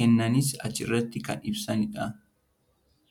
kennanis achirrati kan ibsanidha.